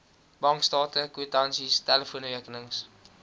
bankstate kwitansies telefoonrekenings